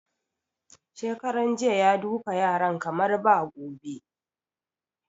Shekaran jiya ya duka yaran kamar ba gobe